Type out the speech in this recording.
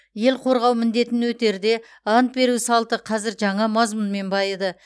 ел қорғау міндетін өтерде ант беру салты қазір жаңа мазмұнмен байыды